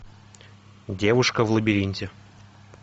девушка в лабиринте